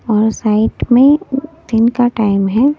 और साइट में दिन का टाइम है।